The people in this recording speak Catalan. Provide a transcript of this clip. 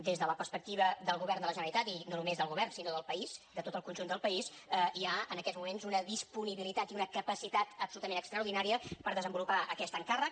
des de la perspectiva del govern de la generalitat i no només del govern sinó del país de tot el conjunt del país hi ha en aquests moments una disponibilitat i una capacitat absolutament extraordinàries per desenvolupar aquest encàrrec